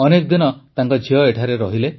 ଅନେକ ଦିନ ଝିଅ ଏଠାରେ ରହିଲେ